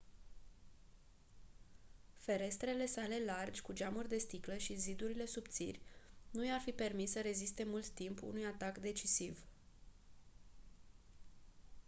ferestrele sale largi cu geamuri de sticlă și zidurile subțiri nu i-ar fi permis să reziste mult timp unui atac decisiv